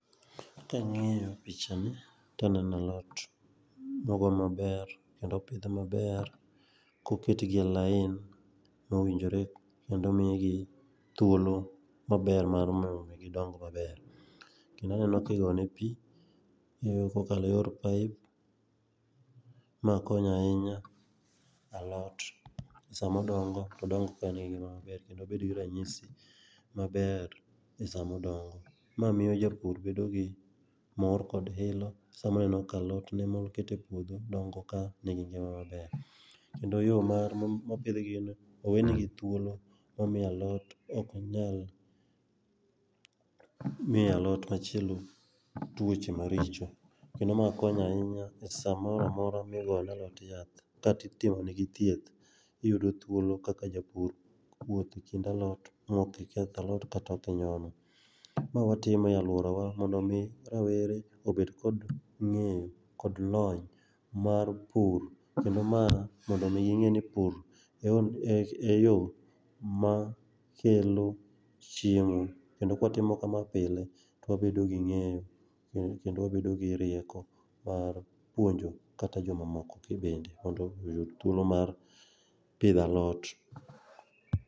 Kang'iyo picha ni to aneno alot mogo maber kendo opidh maber koket gi line mowinjore kendo omigi thuolo maber mondo mii gidong maber. Kendo aneno ki gonegi pii kokale eyor pipe ma konyo ahinya alot sama odongo to odong kae engi ngima maber kendo obed gi ranyisi maber be sama odongo. Ma miyo japur bedo gi mor kod hilo sama oneno ka alotne mokete mokete epuodho dongo ka nigi ngima maber kendo yoo mar ,mopidhgi owene gi thuolo mamiyo alot ok onyal miyo alot machielo tuoche maricho. Kendo ma konyo ahinya e samoro amora migone alot yath kata itimonegi thieth iyudo thuolo kaka japur wuotho ekind alot maok iketh alot kata ok inyono ma watimo aluora mondo mi rawere obed kod ng'eyo kod lony mar pur kendo ma mondo mii ging'e ni pur en yoo ma kelo chiemo. Kendo kwatimo kama pile twabedo gi ng'eyo kendo wabedo gi rieko mar puonjo kata jomamoko kabinde mondo oyud thuolo mar pidho alot